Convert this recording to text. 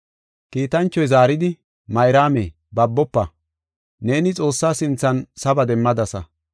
Kiitanchoy zaaridi, “Mayraame, babofa; neeni Xoossa sinthan saba demmadasa.